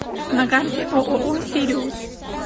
на карте ооо сириус